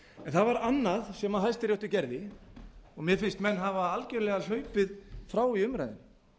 það var annað sem hæstiréttur gerði og mér finnst menn algjörlega hlaupið frá í umræðunni